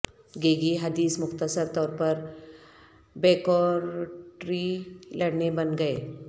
گیگی حدیث مختصر طور پر بیکورٹری لڑکے بن گئے